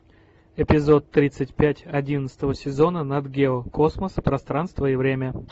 эпизод тридцать пять одиннадцатого сезона нат гео космос пространство и время